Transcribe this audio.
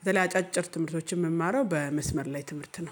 በተለይ አጫጭር ትምህርቶችን የምማረው በመስመር ላይ ትምህርት ነው